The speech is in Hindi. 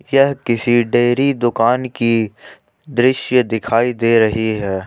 यह किसी डेयरी दुकान की दृश्य दिखाई दे रही है।